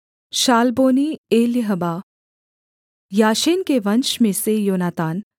Salboni Eliahba Jashen के वंश में से योनातान